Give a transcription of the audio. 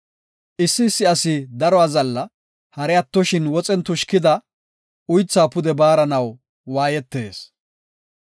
Issi issi asi daro azalla; hari attoshin woxen tushkida uythaa pude baaranaw waayetees.